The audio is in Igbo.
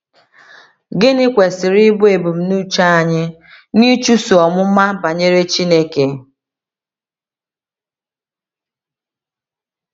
Gịnị kwesịrị ịbụ ebumnuche anyị n’ịchụso ọmụma banyere Chineke?